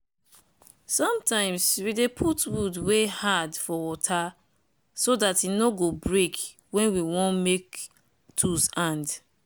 sometimes we dey put wood wey hard for water so dat e no go break wen we want make tools hand.